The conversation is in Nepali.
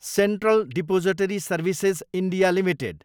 central depository services, India, limited